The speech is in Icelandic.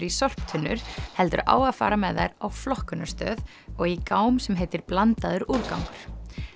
í sorptunnur heldur á að fara með þær á flokkunarstöð og í gám sem heitir blandaður úrgangur